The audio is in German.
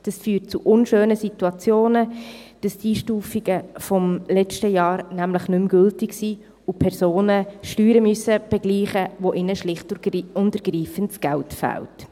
Dies führt zu unschönen Situationen, dass die Einstufungen des letzten Jahres nicht mehr gültig sind und Personen Steuern begleichen müssen, für die ihnen schlicht und ergreifend das Geld fehlt.